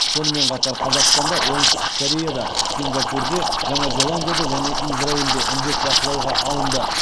сонымен қатар қазақстанда оңтүстік кореяда сингапурде жаңа зеландияда және израильде індет бақылауға алынды